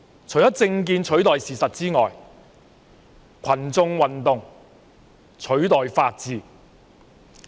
除了政見取代事實外，群眾運動亦取代了法治。